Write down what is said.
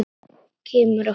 Kemur oft heim.